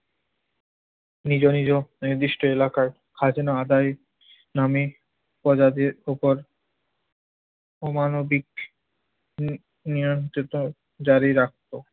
নিজ নিজ নির্দিষ্ট এলাকায় খাজনা আদায়ের নামে প্রজাদের উপর অমানবিক উহ নিয়ন্ত্রিত জারি রাখত।